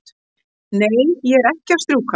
Nei, ég er ekki að strjúka.